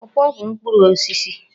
Pọọpọọ bụ mkpụrụ osisi.